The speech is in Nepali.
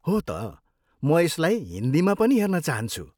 हो त, म यसलाई हिन्दीमा पनि हेर्न चाहन्छु।